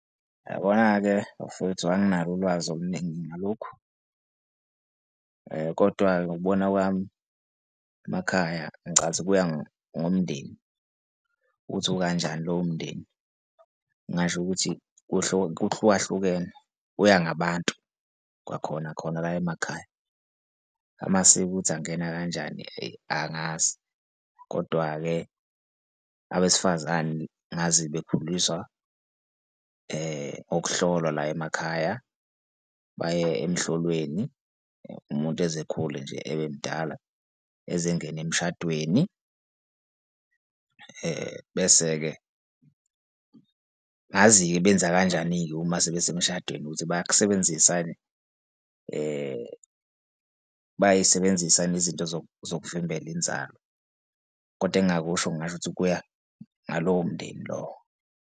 Uyabona-ke bafowethu anginalo ulwazi oluningi ngalokhu. Kodwa-ke, ngokubona kwami emakhaya ngicathi kuya ngomndeni ukuthi ukanjani lowo mndeni, ngingasho ukuthi kuhlukahlukene kuya ngabantu kwakhona khona la emakhaya. Amasiko ukuthi angena kanjani-ke eyi angazi. Kodwa-ke abesifazane ngazi bekhuliswa ukuhlolwa la emakhaya, baye emhloleni umuntu eze ekhule nje, ebe mdala eze engene emshadweni. Bese-ke, angazi-ke benza kanjani-ke uma sebesemshadweni ukuthi bayakusebenzisa yini bayayisebenzisa yini izinto zokuvimbela inzalo? Kodwa engingakusho ngingasho ukuthi kuya ngalowo mndeni lowo.